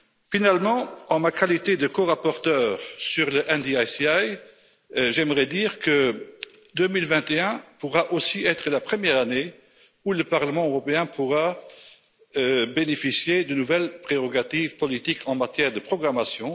Finalement, en ma qualité de corapporteur sur le NDICI, j'aimerais dire que 2021 pourra aussi être la première année où le Parlement européen pourra bénéficier de nouvelles prérogatives politiques en matière de programmation.